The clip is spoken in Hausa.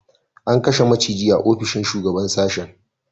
An kashe maciji a ofishin shugaban sashen